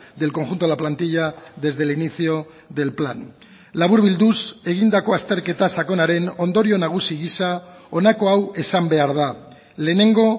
del conjunto de la plantilla desde el inicio del plan laburbilduz egindako azterketa sakonaren ondorio nagusi gisa honako hau esan behar da lehenengo